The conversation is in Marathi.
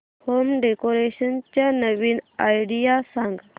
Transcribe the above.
होम डेकोरेशन च्या नवीन आयडीया सांग